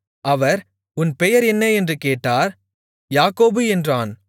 அவர் உன் பெயர் என்ன என்று கேட்டார் யாக்கோபு என்றான்